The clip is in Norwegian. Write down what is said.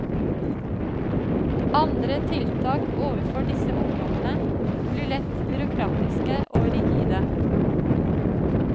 Andre tiltak overfor disse ungdommene blir lett byråkratiske og rigide.